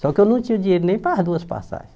Só que eu não tinha dinheiro nem para as duas passagens.